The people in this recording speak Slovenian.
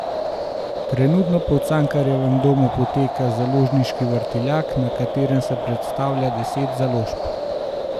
Trenutno pa v Cankarjevem domu poteka Založniški vrtiljak, na katerem se predstavlja deset založb.